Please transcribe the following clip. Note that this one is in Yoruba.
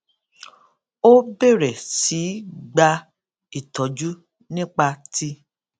ó bèrè sí í gba ìtójú nípa ti